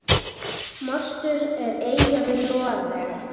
Mostur er eyja við Noreg.